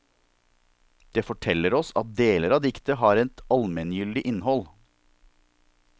Det forteller oss at deler av diktet har et allmenngyldig innhold.